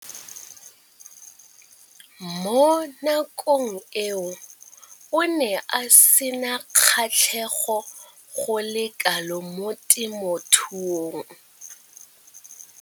Mo nakong eo o ne a sena kgatlhego go le kalo mo temothuong.